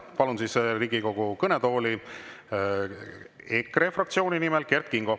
Palun Riigikogu kõnetooli EKRE fraktsiooni nimel kõnelema Kert Kingo.